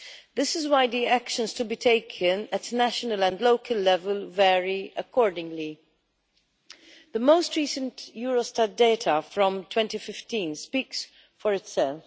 This is why the actions to be taken at national and local level vary accordingly. The most recent Eurostat data from 2015 speaks for itself.